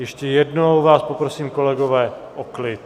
Ještě jednou vás poprosím, kolegové, o klid.